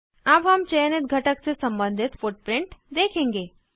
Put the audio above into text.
अब हम चयनित घटक से सम्बंधित फुटप्रिंट देखेंगे